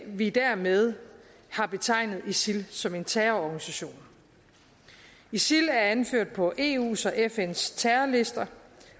vi dermed har betegnet isil som en terrororganisation isil er anført på eus og fns terrorlister